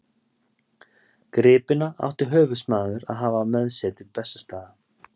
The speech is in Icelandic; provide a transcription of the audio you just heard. Gripina átti höfuðsmaður að hafa með sér til Bessastaða.